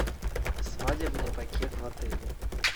свадебный пакет в отеле